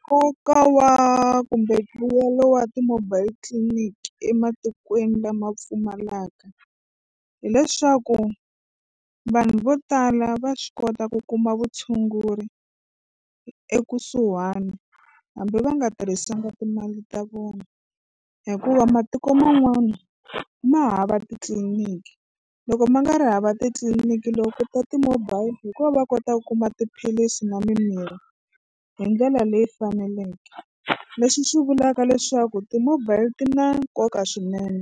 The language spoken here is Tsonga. Nkoka wa kumbe mbuyelo wa ti-mobile clinic ematikweni lama pfumalaka hileswaku vanhu vo tala va swi kota ku kuma vutshunguri ekusuhani hambi va nga tirhisanga timali ta vona hikuva matiko man'wana ma hava titliniki loko ma nga ri hava titliniki loko ku ta ti-mobile hi ko va kota ku kuma tiphilisi na mimirhi hi ndlela leyi faneleke. Leswi swi vulaka leswaku ti-mobile ti na nkoka swinene